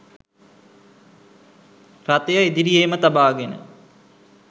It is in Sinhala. රථය ඉදිරියේම තබාගෙන